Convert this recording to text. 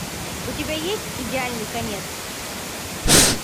у тебя есть идеальный конец